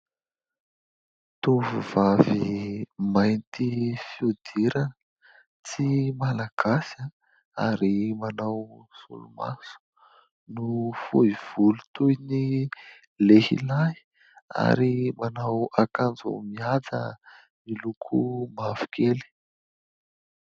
Tovovavy mainty fihodirana, tsy malagasy ary manao solomaso no fohy volo toy ny lehilahy ary manao akanjo mihaja miloko mavokely.